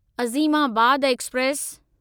Azimabad express